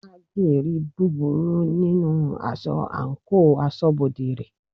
Haggi ri búburú nínú aṣọ àńkò asọ́bodè rẹ̀.